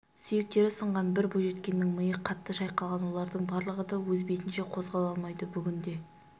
сүйектері сынған бір бойжеткеннің миы қатты шайқалған олардың барлығы да өз бетінше қозғала алмайды бүгінде